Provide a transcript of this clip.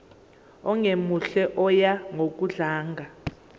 ongemuhle oya ngokudlanga